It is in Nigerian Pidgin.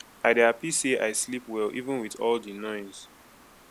i dey happy say i sleep well even with all the noise